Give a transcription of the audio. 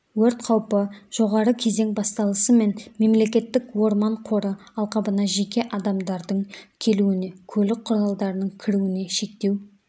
өрт қаупі жоғары кезең басталысымен мемлекеттік орман қоры алқабына жеке адамдардың келуіне көлік құралдарының кіруіне шектеу